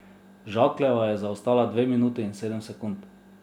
Žakljeva je zaostala dve minuti in sedem sekund.